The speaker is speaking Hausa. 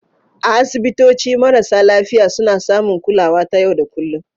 A asibitoci, marasa lafiya suna samun kulawa ta yau da kullun